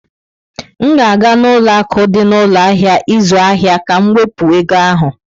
M ga-aga n'ụlọ akụ dị na ụlọ ahịa ịzụ ahịa ka m wepụ ego ahụ.